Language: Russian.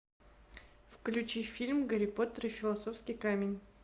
включи фильм гарри поттер и философский камень